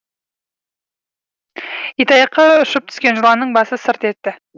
итаяққа ұшып түскен жыланның басы сырп етті